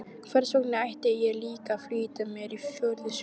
Hversvegna ætti ég líka að flýta mér á fjórðu stund?